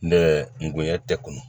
Ne ngonɲɛ tɛ kunnu